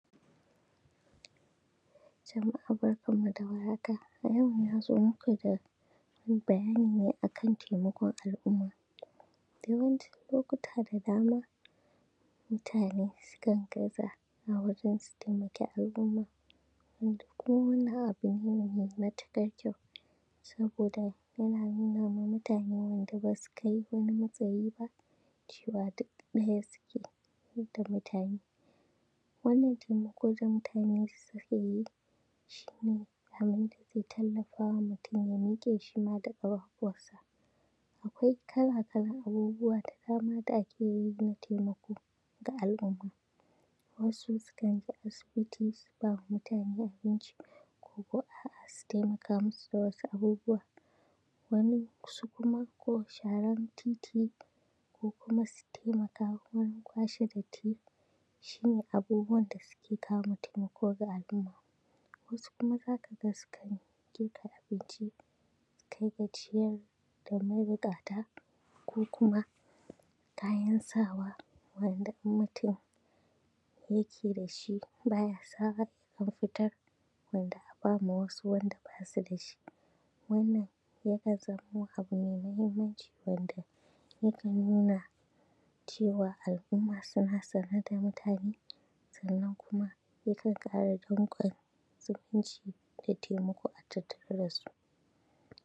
Jama’a barkanmu da warhaka. A yau na zo maku da bayani ne a kan taimakon al’umma. Yawancin lokuta da dama mutane sukan gaza a wajen su taimaki al’umma, wanda ko munga abu ne mai matuƙar kyau, saboda yana nuna ma mutane wanda basu kai wani matsayi ba cewa duk ɗaya suke duka mutane. Wannan taimako da mutane suka yi shi ne a riƙa tallafawa mutum ya miƙe shima da ƙafafuwansa. Akwai kala-kalan abubuwa da dama da ake yi na taimako ga al’umma, wasu sukan je asibiti su ba ma mutane abinci, koko a’a su taimaka masu da wasu abubuwa. Wani, su kuma ko sharan titi ko kuma su taimaka wurin kwashe datti shi ne abubuwan da suke kawo taimako ga al’umma. Wasu kuma za ka ga sukan girka abinci su kai ga ciyar da mabuƙata ko kuma kayan sawa wanda in mutum yake da shi baya sawa ya ɗan fitar domin a ba wasu waɗanda basu da shi. Wannan ya kan zamo abu mai muhimmanci wanda yakan nuna cewa al’umma suna sane da mutane, sannan kuma yakan ƙara danƙon zumunci da taimako a tattare da su.